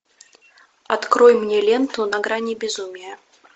открой мне ленту на грани безумия